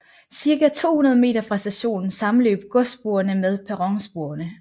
Cirka 200 meter fra stationen sammenløb godssporene med perronsporene